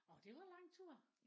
Orh det var lang tur